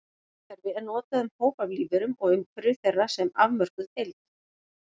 Orið vistkerfi er notað um hóp af lífverum og umhverfi þeirra sem afmörkuð heild.